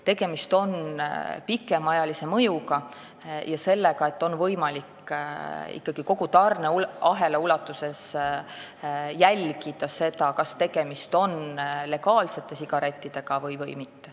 Tegemist on pikemaajalise mõjuga ja sellega, et on võimalik ikkagi kogu tarneahela ulatuses jälgida, kas tegemist on legaalsete sigarettidega või mitte.